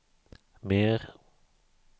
mer